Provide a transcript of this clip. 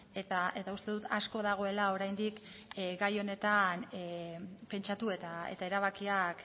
eta uste dut asko dagoela oraindik gai honetan pentsatu eta erabakiak